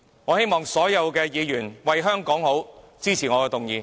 我希望所有議員為香港着想，支持我的議案。